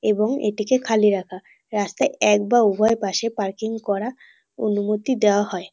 এবং এটিকে খালি রাখা। রাস্তায় এক বা উভয় পাশে পার্কিং করা অনুমতি দেওয়া হয়।